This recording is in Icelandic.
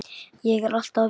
Ég er alltaf að vinna.